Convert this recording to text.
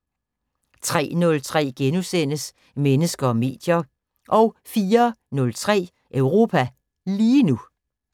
03:03: Mennesker og medier * 04:03: Europa lige nu